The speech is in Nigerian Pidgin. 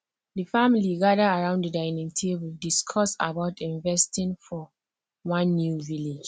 the family gather around the dinning table discuss about investing for one new village